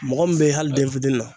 Mɔgɔ min be hali den fitini na